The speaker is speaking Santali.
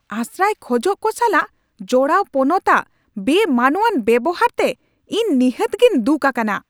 ᱟᱥᱨᱟᱭ ᱠᱷᱚᱡᱚᱜ ᱠᱚ ᱥᱟᱞᱟᱜ ᱡᱚᱲᱟᱣ ᱯᱚᱱᱚᱛ ᱟᱜ ᱵᱮᱼᱢᱟᱱᱚᱣᱟᱱ ᱵᱮᱣᱦᱟᱨ ᱛᱮ ᱤᱧ ᱱᱤᱦᱟᱹᱛ ᱜᱤᱧ ᱫᱩᱠ ᱟᱠᱟᱱᱟ ᱾